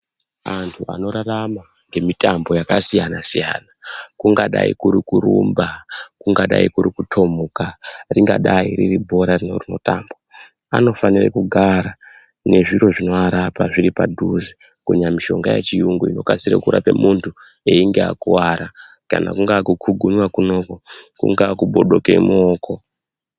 Antu anorarama ngemitambo yakasiyana siyana kungadai kuri kurumba, kungadai kuri kutomuka ringadai riri bhora rino rinotambwa anofanire kugara nezviro zvinoarapa zviripadhuze kunyanya mishonga yechiyungu inokasire kurapa muntu einge akuwara kana kungaa kukugunywa kunoku kungaa kubodoke muoko.